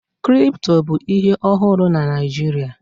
Kripto bụ ihe ọhụrụ na Naịjirịa